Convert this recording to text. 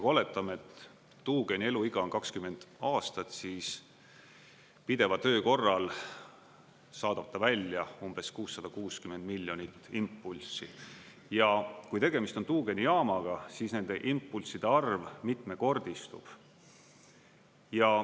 Kui oletame, et tuugeni eluiga on 20 aastat, siis pideva töö korral saadab ta välja umbes 660 miljonit impulssi, ja kui tegemist on tuugenijaamaga, siis nende impulsside arv mitmekordistub.